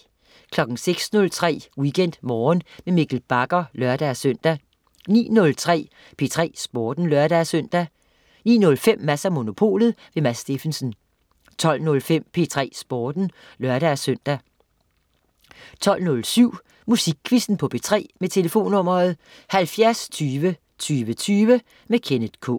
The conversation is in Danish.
06.03 WeekendMorgen med Mikkel Bagger (lør-søn) 09.03 P3 Sporten (lør-søn) 09.05 Mads & Monopolet. Mads Steffensen 12.05 P3 Sporten (lør-søn) 12.07 Musikquizzen på P3. Tlf.: 70 20 20 20. Kenneth K